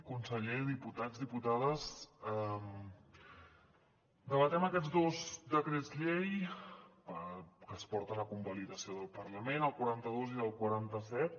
conseller diputats diputades debatem aquests dos decrets llei que es porten a convalidació del parlament el quaranta dos i el quaranta set